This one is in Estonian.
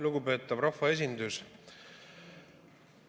Lugupeetav rahvaesindus!